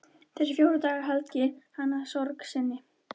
Þessa fjóra daga helgar hann sorg sinni.